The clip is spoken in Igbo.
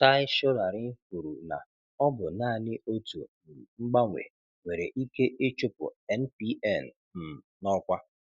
Tai Solarin kwuru na ọ bụ naanị otu um mgbanwe nwere ike ịchụpụ NPN um n'ọkwa.